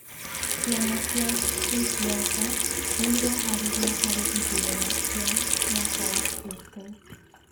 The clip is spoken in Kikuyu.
Ciama cia gĩsiasa nĩ ireharĩria harĩ ithurano cia mwaka ũkĩte